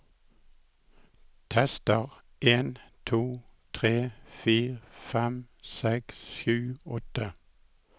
Tester en to tre fire fem seks sju åtte